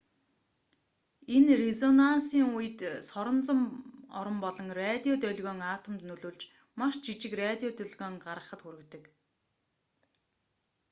энэ резонансийн үед соронзон орон болон радио долгион атомд нөлөөлж маш жижиг радио долгион гаргахад хүргэдэг